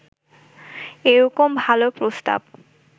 এরকম ভালো প্রস্তাব